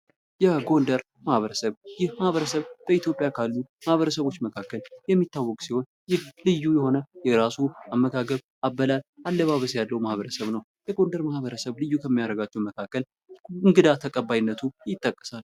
የጎንደር ማህበረሰብ ይህ በኢትዮጵያ ካሉ ማህበረሰቦች መካከል የሚታወቅ ሲሆን ልዩ ልዩ የሆነ የራሱ አመጋገብ፣ አበላል እና አለባበስ ያለው ማበረሰብ ነው። ልዩ ከሚያደርጋቸው መካከል እንግዳ ተቀባይነቱ ይጠቀሳል።